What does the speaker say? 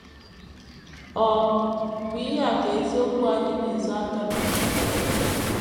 Ọ bụ ihu a ka isiokwu anyị na - ezo aka na ya.